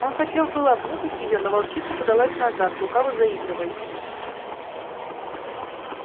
он хотел было обнюхать её но волчица подалась назад лукаво заигрывая с ним